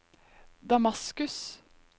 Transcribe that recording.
Damaskus